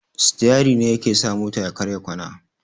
Sitiyari ne yaa ke sa mota ya karya kwana.